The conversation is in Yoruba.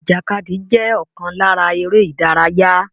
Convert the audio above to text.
Ìjàkadì jẹ́ ọ̀kan lára eré ìdárayá